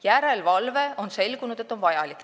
Järelevalve, on selgunud, on vajalik.